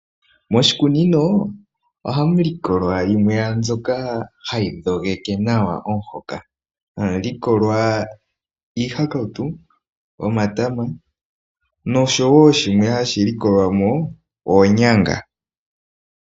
Moshikunino ohamu likolwa yimwe yomwambyoka hayi dhongeke nawa omuhoka, hamu likolwa iihakautu, omatama noshowo shimwe hashi likolwa mo oonyanga.